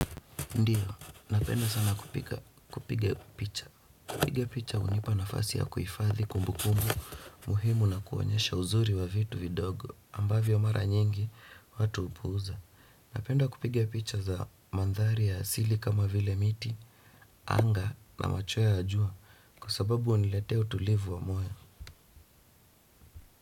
Ndio, napenda sana kupiga picha. Kupiga picha hunipa nafasi ya kuhifadhi kumbu kumbu muhimu na kuonyesha uzuri wa vitu vidogo, ambavyo mara nyingi watu hupuza. Napenda kupiga picha za mandhari ya asili kama vile miti, anga na machweya ya jua kwa sababu huniletea utulivu wa moyo.